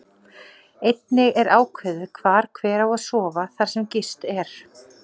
Einnig er ákveðið hvar hver á að sofa þar sem gist er.